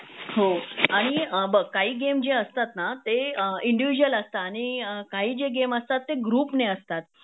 हो आणि बघ काही गेम जे असतात ना ते इंडिविझूल असत आणि काही जे गेम असतात ते ग्रुप ने असतात